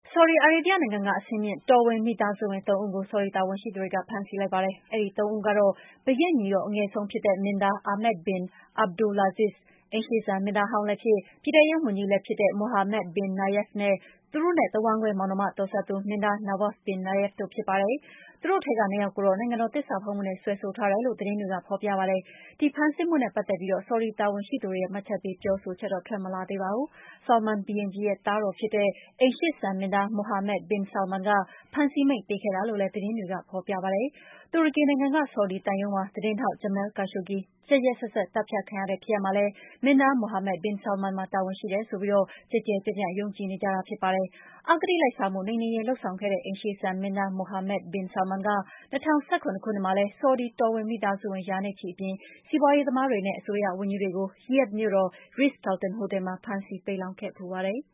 ဆော်ဒီအာရေဗျနိုင်ငံက အဆင့်မြင့် တော်ဝင်မိသားစုဝင် ၃ ဦးကို ဆော်ဒီတာဝန်ရှိသူတွေက ဖမ်းဆီးလိုက်ပါတယ်။ အဲဒီ ၃ ဦးကတော့ ဘုရင့်ညီတော် အငယ်ဆုံးဖြစ်တဲ့ မင်းသား Ahmed bin Abdulaziz၊ အိမ်ရှေ့စံမင်းသားဟောင်းလည်းဖြစ် ပြည်ထဲရေးဝန်ကြီးလည်းဖြစ်တဲ့ Mohammed bin Nayef နဲ့ သူတို့ရဲ့ တဝမ်းကွဲမောင်နှမတော်စပ်သူ မင်းသား Nawaf bin Nayef တို့ ဖြစ်ပါတယ်။ သူတို့ထဲက ၂ ယောက်ကိုတော့ နိုင်ငံတော် သစ္စာဖောက်မှုနဲ့ စွဲဆိုထားတယ်လို့ သတင်းတွေမှာ ဖော်ပြပါတယ်။ ဒီဖမ်းဆီးမှုနဲ့ ပတ်သက်ပြီး ဆော်ဒီတာဝန်ရှိသူတွေရဲ့ မှတ်ချက်ပေး ပြောဆိုချက် ထွက်မလာသေးပါဘူး။ Salman ဘုရင်ကြီးရဲ့ သားတော်ဖြစ်တဲ့ အိမ်ရှေ့စံမင်းသား Mohammed bin Salman က ဖမ်းဆီးမိန့်ပေးခဲ့တာလို့လည်း သတင်းတွေက ဖော်ပြပါတယ်။ တူရကီနိုင်ငံက ဆော်ဒီသံရုံးမှာ သတင်းထောက် Jamal Khashoggi ရက်ရက်စက်စက် သတ်ဖြတ်ခံရတဲ့ ဖြစ်ရပ်မှာလည်း မင်းသား Mohammed bin Salman မှာ တာဝန်ရှိတယ်ဆိုပြီး ကျယ်ကျယ်ပြန့်ပြန့် ယုံကြည်နေကြပါတယ်။ အဂတိလိုက်စားမှု နှိမ်နင်းရေး လုပ်ဆောင်ခဲ့တဲ့ အိမ်ရှေ့စံမင်းသား Mohammed bin Salman က ၂၀၁၇ ခုနှစ်မှာလည်း ဆော်ဒီ တော်ဝင်မိသားစုဝင် ရာနဲ့ချီအပြင် စီးပွားရေးသမားတွေနဲ့ အစိုးရဝန်ကြီးတွေကို ရီယာ့ဒ်မြို့တော် Ritz Carlton ဟိုတယ်မှာ ဖမ်းဆီး ပိတ်လှောင်ခဲ့ဖူးပါတယ်။